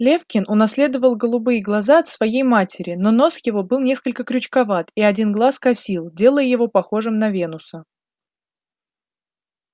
лефкин унаследовал голубые глаза от своей матери но нос его был несколько крючковат и один глаз косил делая его похожим на венуса